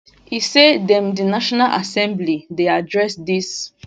e say dem di national assembly dey address dis